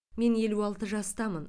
мен елу алты жастамын